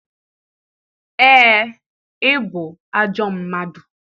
Ee, ị ajọ mmadụ